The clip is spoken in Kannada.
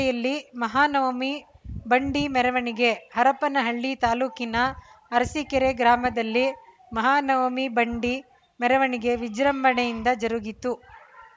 ರೆಯಲ್ಲಿ ಮಹಾನವಮಿ ಬಂಡಿ ಮೆರವಣಿಗೆ ಹರಪನಹಳ್ಳಿ ತಾಲೂಕಿನ ಅರಸಿಕೆರೆ ಗ್ರಾಮದಲ್ಲಿ ಮಹಾನವಮಿ ಬಂಡಿ ಮೆರವಣಿಗೆ ವಿಜೃಂಭಣೆಯಿಂದ ಜರುಗಿತು